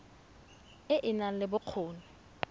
e e nang le bokgoni